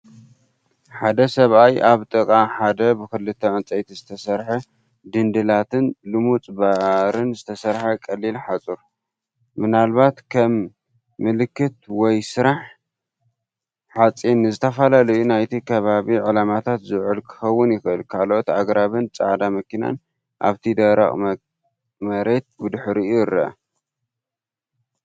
ሓደ ሰብኣይ ኣብ ጥቓ ሓደ ብኽልተ ዕንጨይቲ ዝተሰርሐ ድንድላትን ልሙጽ ባርን ዝተሰርሐ ቀሊል ሓጹር። ምናልባት ከም ምልክት ወይ ስራሕ ሓጺን ንዝተፈላለዩ ናይቲ ከባቢ ዕላማታት ዝውዕል ክኸውን ይኽእል። ካልኦት ኣግራብን ጻዕዳ መኪናን ኣብቲ ደረቕ መሬት ብድሕሪት ይርአ።